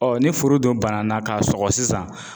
Ɔ ni furu dun banna k'a sɔgɔ sisan